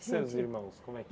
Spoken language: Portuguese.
E seus irmãos, como é que